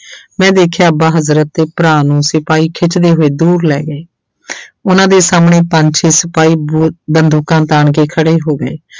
ਮੈਂ ਦੇਖਿਆ ਅੱਬਾ ਹਜ਼ਰਤ ਤੇ ਭਰਾ ਨੂੰ ਸਿਪਾਹੀ ਖਿੱਚਦੇ ਹੋਏ ਦੂਰ ਲੈ ਗਏ ਉਹਨਾਂ ਦੇ ਸਾਹਮਣੇ ਪੰਜ ਛੇ ਸਿਪਾਹੀ ਬ~ ਬੰਦੂਕਾਂ ਤਾਣ ਕੇ ਖੜੇ ਹੋ ਗਏ।